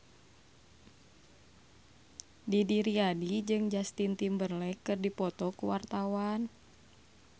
Didi Riyadi jeung Justin Timberlake keur dipoto ku wartawan